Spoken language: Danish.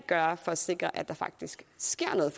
gøre for at sikre at der faktisk sker noget